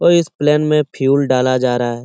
और इस प्लेन में फ्यूल डाला जा रहा है।